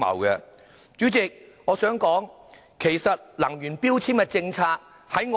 代理主席，以我所知，能源標籤政策爭